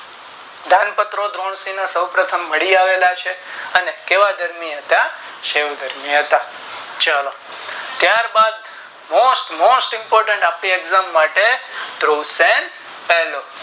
દાન પત્રો સો પ્રથમ મળી આવેલા છે અને કેવા ધર્મી હતા શિવ ધર્મી હતા ચાલો ત્યાર બાદ most most impotent અમી exam માટે question પેલો